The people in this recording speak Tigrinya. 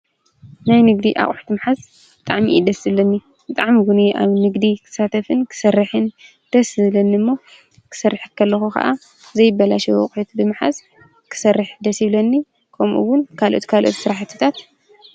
ናይ ንግዲ ኣቝሕት ምሓዝ ጠዕሚዪደስ ዝለኒ ጥዕምውን የ ኣብ ንግዲ ኽሳተፍን ክሠርሕን ደስ ዝለኒ እሞ ክሠርሐከ ለኹ ኸዓ ዘይበላሸ ወቕሒት ብምሓዝ ክሠርሕ ደስ ይብለኒ ከምኡውን ካልኦቲ ካልእት ሠራሕትታት